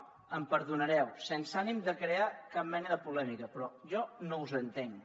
ja em perdonareu sense ànim de crear cap mena de polèmica però jo no us entenc